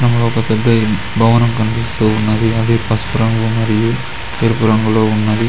చిత్రంలో ఒక పెద్ద భవనం కనిపిస్తూ ఉన్నది అది పసుపు రంగు మరియు తెలుపు రంగులో ఉన్నది.